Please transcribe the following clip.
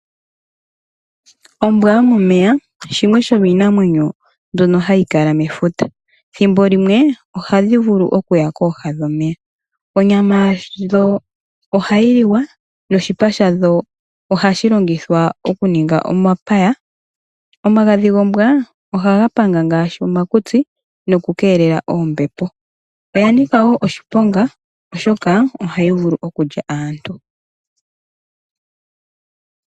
Ombwa yo momeya shimwe shomiinamwenyo mbyono hayi kala mefuta, thimbo limwe ohadhi vulu kuya kooha dhomeya. Onyama yadho ohayi liwa noshipa shadho oku ninga omapaya. Omagadhi gombwa ohaga panga ngaashi omakutsi noku keelela oombepo, oya nika wo oshiponga oshoka ohayi vulu kulya aantu.